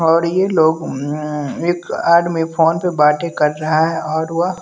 और ये लोग अ एक आदमी फोन पर बातें कर रहा है और वह--